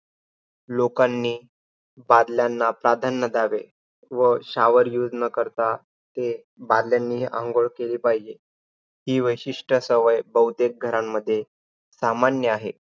लोकांनी बादल्यांना प्राधान्य द्यावे. व shower use न करता ते बादल्यांनी अंघोळ केली पाहिजे. हि वैशिष्ट सवय बहुतेक घरांमध्ये सामान्य आहे.